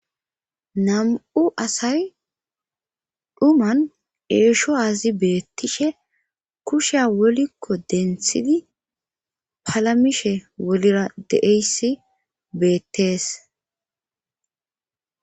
nam7u asay dhuman eesho azi beettishe kusheya wolikko denthidi palamishe wolira deeyssi beettees